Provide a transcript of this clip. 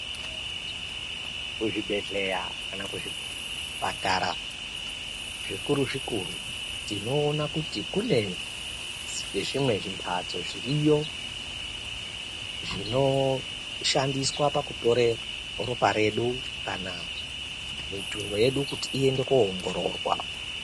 Kuzvibhendleya kana kuzvipatara zvikuru zvikuru tinoona kuti kune zvimwe zvimhatso zviriyo. Zvinoshandiswa pakutora ropa redu kana mitundo yedu kuti iende koongororwa.